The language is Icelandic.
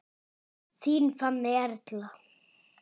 Þín Fanney Erla.